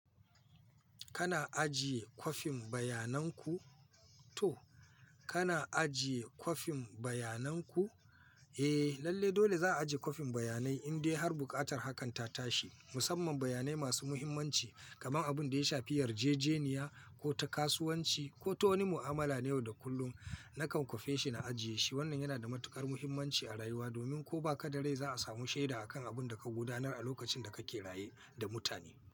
Kana ajiye kwafin bayananku? To, kana ajiye kwafin bayananku? Eh, lalle dole za'a ajiye kwafin bayanai in dai har buƙatar hakan ta tashi. Musamman bayanai masu muhimmanci kamar abin da ya shafi yarjejeniya ko ta kasuwanci ko ta wani mu'amala na yau da kullum. Nakan kwafe shi na ajiye shi. Wannan yana da matuƙar muhimmanci a rayuwa domin ko ba ka da rai za'a samu shaida akan abun da ka gudanar a lokacin da kake raye da mutane.